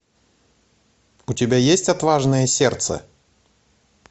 у тебя есть отважное сердце